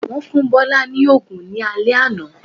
Wọ́n fún Bọ́lá ní òògùn ní alé àná